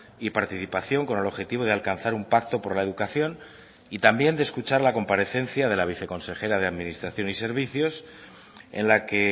y participación con el objetivo de alcanzar un pacto por la educación y también de escuchar la comparecencia de la viceconsejera de administración y servicios en la que